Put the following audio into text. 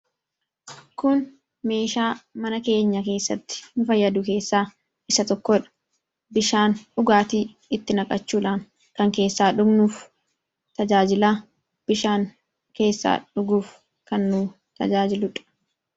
Kun meeshaa mana keenya keessatti nu fayyadu keessaa isa tokkodha. Bishaan dhugaatii itti naqachuudhaan kan keessaa dhugnuu fi tajaajila bishaan keessaa dhuguuf kan nu tajaajiludha.